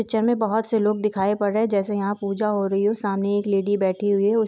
Picture में बहुत से लोग दिखाई पड़ रहे हैं जैसे यहां पूजा हो रही है सामने एक लेडी बैठी हुई है।